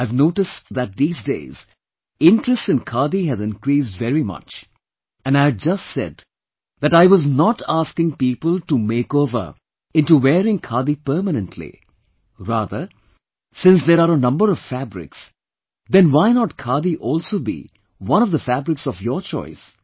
I have noticed that these days interest in Khadi has increased very much and I had just said that I was not asking people to makeover into wearing Khadi permanently; rather, since there are a number of fabrics then why not Khadi also be one of the fabrics of your choice